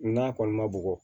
N'a kɔni ma bugɔ